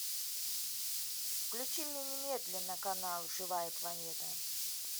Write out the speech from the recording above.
включи мне немедленно канал живая планета